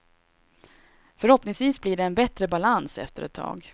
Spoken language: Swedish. Förhoppningvis blir det en bättre balans efter ett tag.